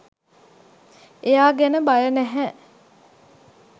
එයා ගැන බය නැහැ